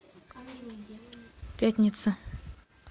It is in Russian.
пятница